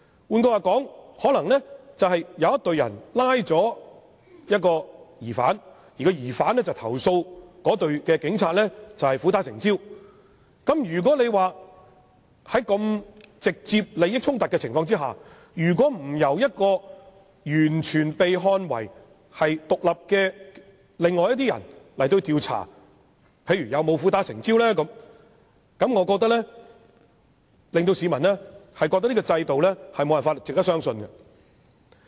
換言之，可能有一隊警務人員拘捕了一名疑犯，後來被該名疑犯投訴苦打成招，在這個有直接利益衝突的情況下，如不由完全被視為獨立的另外一些人員進行調查，查明有否苦打成招，我認為只會令市民認為這個制度無法值得相信。